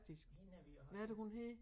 Hende er vi også